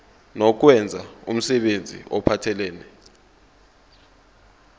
nokwenza umsebenzi ophathelene